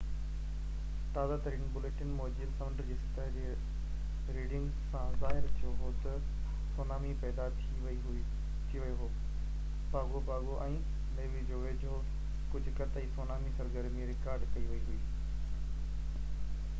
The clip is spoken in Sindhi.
تازه ترين بُليٽن موجب سمنڊ جي سطح جي ريڊنگز سان ظاهر ٿيو هو ته سونامي پيدا ٿي ويو هو پاگو پاگو ۽ نيوو جي ويجهو ڪجهه قطعي سونامي سرگرمي رڪارڊ ڪئي وئي هئي